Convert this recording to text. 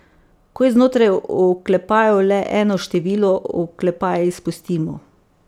Ko je znotraj oklepajev le eno število, oklepaje izpustimo.